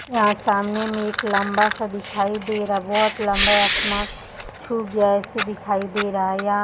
यहाँ सामने में एक लम्बा सा दिखाई दे रहा बहोत लम्बा आसमान छू गया है ऐसा दिखाई दे रहा है यहाँ --